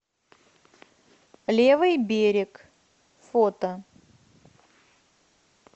левый берег фото